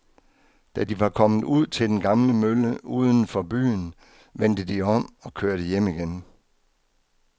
Da de var kommet ud til den gamle mølle uden for byen, vendte de om og kørte hjem igen.